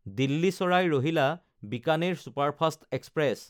Delhi চাৰাই ৰহিলা–বিকানেৰ superfast express